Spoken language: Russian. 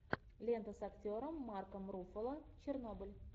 лента с актером марком руффало чернобыль